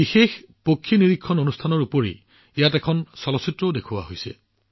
অনন্য পক্ষী নিৰীক্ষণ কাৰ্যসূচীৰ উপৰিও ইয়াত এখন চলচ্চিত্ৰও দেখুওৱা হৈছিল